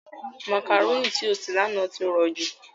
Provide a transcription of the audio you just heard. Màkàrónì tí ó sè lánàá ti rọ̀jú.